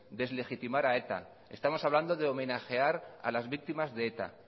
deslegitimar a eta estamos hablando de homenajear a las víctimas de eta